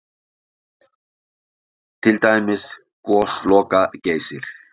Til dæmis Gosloka-Geysir?